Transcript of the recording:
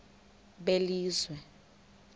belizwe